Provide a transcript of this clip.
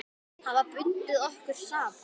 Hafa bundið okkur saman.